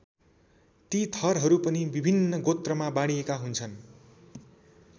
ती थरहरू पनि विभिन्न गोत्रमा बाँडिएका हुन्छन्।